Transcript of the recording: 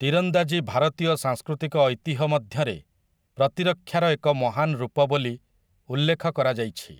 ତୀରନ୍ଦାଜୀ ଭାରତୀୟ ସାଂସ୍କୃତିକ ଐତିହ୍ୟ ମଧ୍ୟରେ ପ୍ରତିରକ୍ଷାର ଏକ ମହାନ ରୂପ ବୋଲି ଉଲ୍ଲେଖ କରାଯାଇଛି ।